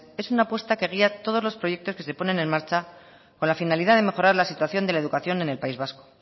es una apuesta que guía todos los proyectos que se ponen en marcha con la finalidad de mejorar la situación de la educación en el país vasco